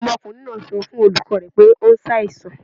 Ọmọkunrin naa sọ fun olukọ rẹ pe o ṣaisan